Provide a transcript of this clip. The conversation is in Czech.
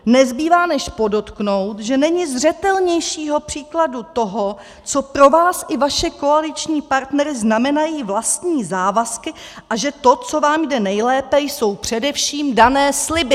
Nezbývá, než podotknout, že není zřetelnějšího příkladu toho, co pro vás i vaše koaliční partnery znamenají vlastní závazky a že to, co vám jde nejlépe, jsou především dané sliby.